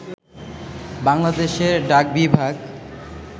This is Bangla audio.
বাংলাদেশ ডাকবিভাগ